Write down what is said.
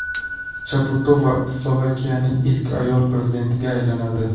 Chaputova Slovakiyaning ilk ayol prezidentiga aylanadi.